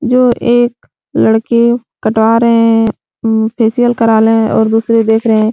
जो एक लड़के कटवा रहे है। फेसियल करवा रहे है और दूसरे देख रहे हैं।